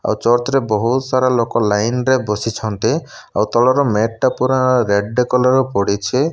ଆଉ ଚର୍ତ ରେ ବହୁତ ସାରା ଲୋକ ଲାଇନ ରେ ବସିଛନ୍ତି ଆଉ ତଳର ମେଟ ପୁରା ରେଡ କଲର୍ ପଡ଼ିଚେ।